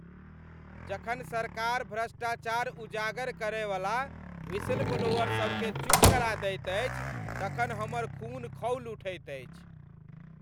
जखन सरकार भ्रष्टाचार उजागर करयवला व्हिसलब्लोअर सभकेँ चुप करा दैत अछि तखन हमर खून खौलि उठैत अछि।